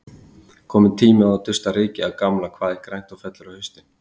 Kominn tími á að dusta rykið af gamla Hvað er grænt og fellur á haustin?